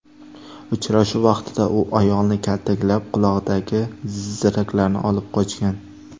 Uchrashuv vaqtida u ayolni kaltaklab, qulog‘idagi ziraklarni olib qochgan.